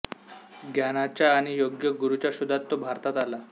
ज्ञानाच्या आणि योग्य गुरूच्या शोधात तो भारतात आला